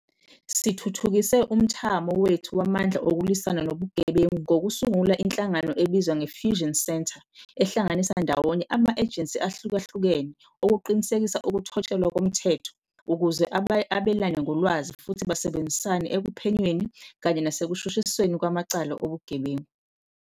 Sithuthukise umthamo wethu wamandla okulwisana nobugebengu ngokusungula inhlangano ebizwa nge-Fusion Centre, ehlanganisa ndawonye ama-ejensi ahlukahlukene okuqinisekisa ukuthotshelwa komthetho ukuze abelane ngolwazi futhi basebenzisane ekuphenyweni kanye nasekushushisweni kwamacala obugebengu.